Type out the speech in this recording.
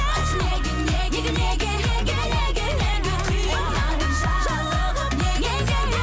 айтшы неге неге неге неге неге неге қинадың жаралы қып неге неге